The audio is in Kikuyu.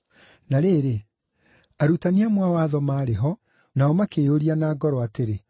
Na rĩrĩ, arutani amwe a watho maarĩ ho, nao makĩĩyũria na ngoro atĩrĩ,